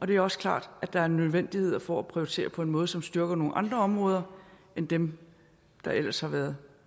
det er også klart at der er en nødvendighed for at prioritere på en måde som styrker nogle andre områder end dem der ellers har været